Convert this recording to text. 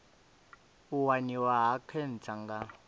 u waniwa ha khentsa nga